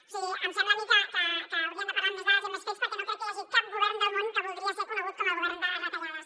o sigui em sembla a mi que haurien de parlar amb més dades i amb més fets perquè no crec que hi hagi cap govern del món que voldria ser conegut com el govern de les retallades